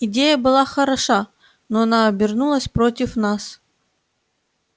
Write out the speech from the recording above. идея была хороша но она обернулась против нас